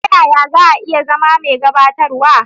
Ta yaya za a iya zama mai gabatarwa?